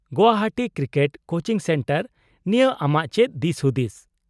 -Guwahati cricket coaching centre ᱱᱤᱭᱟᱹ ᱟᱢᱟᱜ ᱪᱮᱫ ᱫᱤᱥᱦᱩᱫᱤᱥ ?